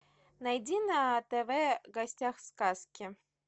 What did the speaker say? найди на тв в гостях у сказки